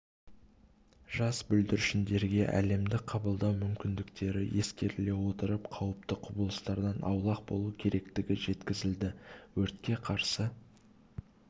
жас бүлдіршіндерге әлемді қабылдау мүмкіндіктері ескеріле отырып қауіпті құбылыстардан аулақ болу керектігі жеткізілді өртке қарсы